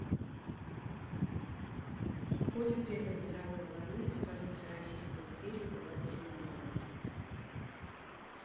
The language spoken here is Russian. в ходе первой мировой войны столица российской империи была переименована